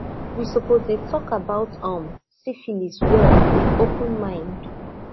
we suppose dey talk about um syphilis well with open mind